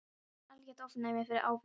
Kominn með algert ofnæmi fyrir áfengi.